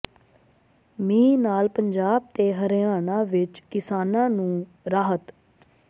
ਮੀਂਹ ਨਾਲ ਪੰਜਾਬ ਤੇ ਹਰਿਆਣਾ ਵਿੱਚ ਕਿਸਾਨਾਂ ਨੂੰ ਰਾਹਤ